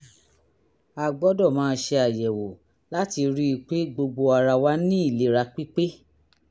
a gbọ́dọ̀ máa ṣe àyẹ̀wò láti rí i pé gbogbo ara wà ní ìlera pípé